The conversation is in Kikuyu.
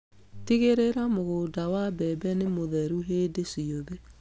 Tigĩrĩra mũgũnda wa mbembe nĩ mũtheru hĩndĩ ciothe.